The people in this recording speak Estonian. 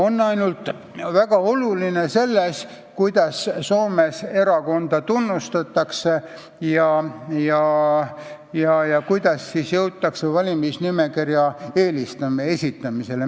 Väga oluline erinevus on ainult selles, kuidas Soomes erakondi tunnustatakse ja kuidas jõutakse valimisnimekirjade esitamiseni.